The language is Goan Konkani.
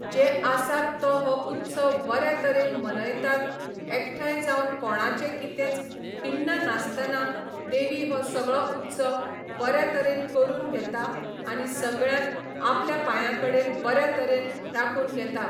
जे आसात तो हो उत्सव बऱ्या तरेन मनयतात एकठांय जावन कोणाचे कितेंच खिण्ण नासताना देवी हो सगळो उत्सव बऱ्या तरेन करून घेता आनी सगळ्यांक आपल्या पांया कडेन बऱ्या तरेन राखून घेता.